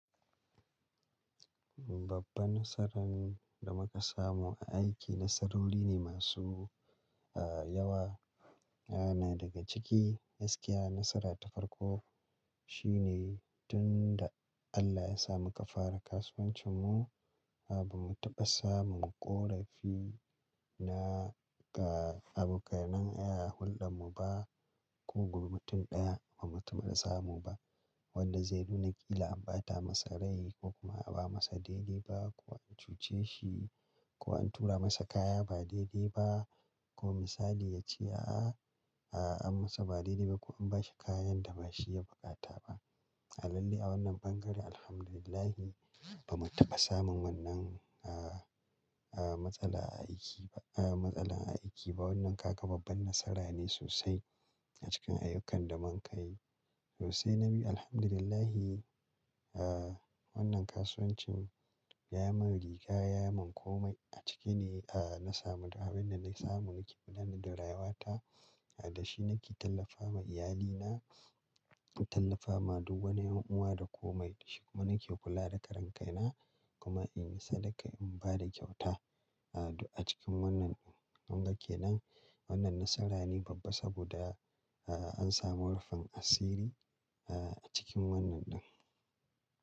Babban nasaran da muka samu a aiki nasarori ne masu yawa. Na daga ciki gaskiya nasara ta farko shine tun da Allah ya sa muka fara kasuwancin mu, ba mu taɓa samun ƙorafi na abokanan hulɗar mu ba, ko mutun ɗaya ba mu taɓa samu ba. Wanda zai nuna ƙila an bata masa rai ko kuma ba'a masa daidai ba ko an cuce shi ko an tura masa kaya ba daidai ba ko misali ya ce, a'a, an masa ba daidai ba ko an bashi kayan da ba shi ya buƙata ba. A lalle a wannan bangare Alhamdulillah ba mu taɓa samun wannan matsala a aiki ba, matsala a aiki ba, wannan kaga babban nasara ne sosai a cikin ayyukan da mun ka yi. Sosai na bi Alhamdulillahi, wannan kasuwancin ya yi min riga, ya yi min komai a ciki ne, na samu abin da na samu nake gudanar da rayuwata. Da shi nake tallafawa iyalina, tallafawa duk wani ƴan'uwa da komai. Da shi kuma nake kula da karen kaina kuma in yi sadaka in ba da kyauta. Duk a cikin wannan ke nan wannan nasara ne babba saboda an samu rufin asiri a cikin wannan ɗin.